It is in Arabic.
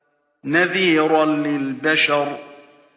نَذِيرًا لِّلْبَشَرِ